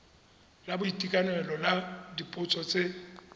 la boitekanelo la dipotso tse